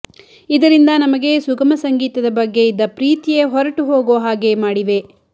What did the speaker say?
ಇದರಿಂದ ನಮಗೆ ಸುಗಮಸಂಗೀತದ ಬಗ್ಗೆ ಇದ್ದ ಪ್ರೀತಿಯೇ ಹೊರಟು ಹೋಗೋ ಹಾಗೆ ಮಾಡಿವೆ